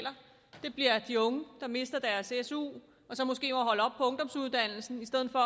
det er de unge der mister deres su og så måske ungdomsuddannelsen i stedet for